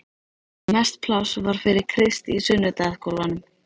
Mest pláss var fyrir Krist í sunnudagaskólanum.